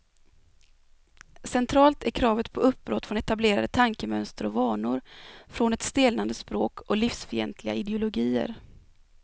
Centralt är kravet på uppbrott från etablerade tankemönster och vanor, från ett stelnande språk och livsfientliga ideologier.